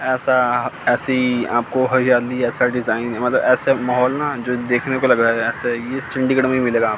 ऐसा ऐसी आपको हरियाली ऐसा डिजाइन मतलब ऐसे माहौल न देखने को लग रहा है ऐसे इस चंडीगढ़ में ही मिलेगा।